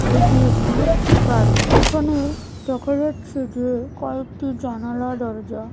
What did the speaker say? এটি একটি বাড়ি এখানে দেখা যাচ্ছে যে কয়েকটি জানালা দরজা--